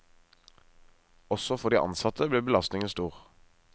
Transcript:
Også for de ansatte blir belastningen stor.